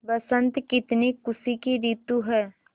बसंत कितनी खुशी की रितु है